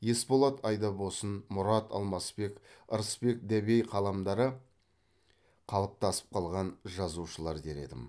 есболат айдабосын мұрат алмасбек ырысбек дәбей қаламдары қалыптасып қалған жазушылар дер едім